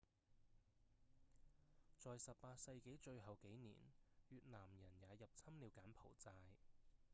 在18世紀最後幾年越南人也入侵了柬埔寨